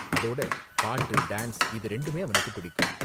அதோட பாட்டு, டான்ஸ் இது ரெண்டுமே அவனுக்கு பிடிக்கும்.